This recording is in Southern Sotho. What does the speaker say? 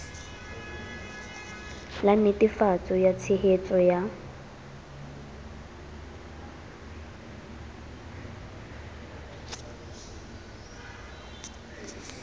la netefatso ya tshehetso ya